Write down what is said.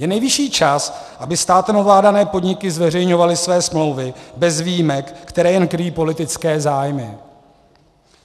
Je nejvyšší čas, aby státem ovládané podniky zveřejňovaly své smlouvy bez výjimek, které jen kryjí politické zájmy.